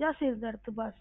ਜਾਂ ਸਿਰ ਦਰਦ ਬਸ